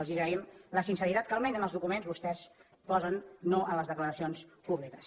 els agraïm la sinceritat que almenys en els documents vostès posen no en les declaracions públiques